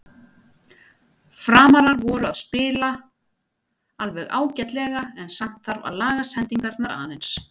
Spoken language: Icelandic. Framarar voru að spila alveg ágætlega en samt þarf að laga sendingarnar aðeins.